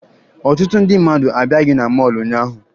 Ọtụtụ ndị mmadụ abịaghị na mọọlụ ụnyaahụ